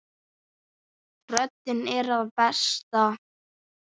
Röddin er að bresta.